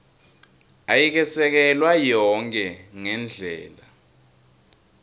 ayikesekelwa yonkhe ngendlela